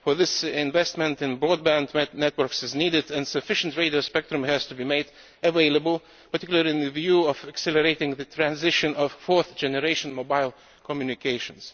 For this, investment in broadband networks is needed and sufficient radio spectrum has to be made available, particularly with a view to accelerating the transition to fourth generation mobile communications.